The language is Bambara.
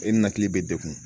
E ninakili bɛ degun